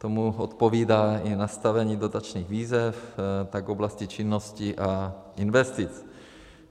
Tomu odpovídá i nastavení dotačních výzev, tak oblasti činnosti a investic.